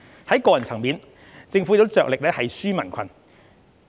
在個人層面，政府亦着力"紓民困"。